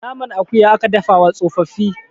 naman akuya aka dafa wa tsofaffi